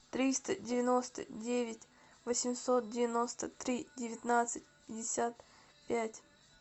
триста девяносто девять восемьсот девяносто три девятнадцать пятьдесят пять